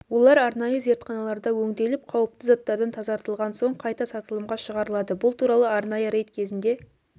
олар арнайы зертханаларда өңделіп қауіпті заттардан тазартылған соң қайта сатылымға шығарылады бұл туралы арнайы рейд кезінде